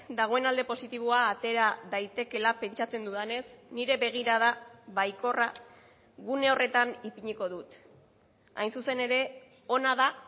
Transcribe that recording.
dagoen alde positiboa atera daitekeela pentsatzen dudanez nire begirada baikorra gune horretan ipiniko dut hain zuzen ere ona da